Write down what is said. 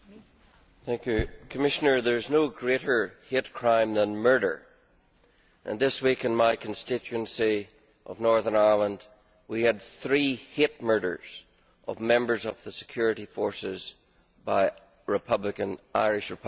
Commissioner, there is no greater hate crime than murder, and this week in my constituency of Northern Ireland, we had three hate murders of members of the security forces by Irish Republican terrorists.